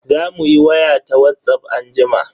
Zamu yi waya ta Whatsapp anjima.